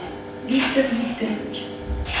виктор викторович